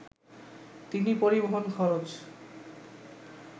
তিনি পরিবহণ খরচ